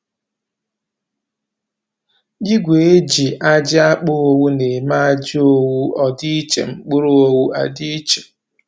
Igwe e ji a ji a kpa owu na-eme ajị owu ọ dị iche, mkpụrụ owu a dị iche